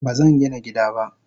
Bazangina gida ba.